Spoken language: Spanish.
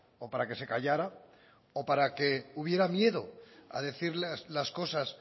o para que se callara o para que hubiera miedo a decir las cosas